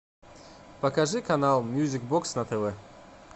покажи канал мьюзик бокс на тв